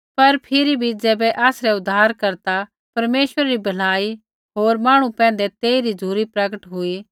पर फिरी भी ज़ैबै आसरै उद्धारकर्ता परमेश्वरै री भलाई होर मांहणु पैंधै तेइरा झ़ुरी प्रगट हुई